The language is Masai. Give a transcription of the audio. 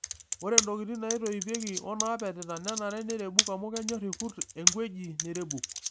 Ore ntokitin naitoipieki onaapetita nenare neirebuk amu kenyor irkurt eng'weji nairebuk.